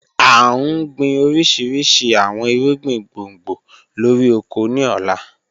A n gbin orishirishi awọn irugbin gbongbo lori oko ni ọla.